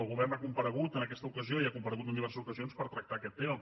el govern ha comparegut en aquesta ocasió i ha comparegut en diverses ocasions per tractar aquest tema